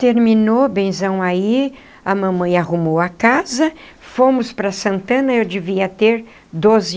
Terminou benzão aí, a mamãe arrumou a casa, fomos para Santana e eu devia ter doze.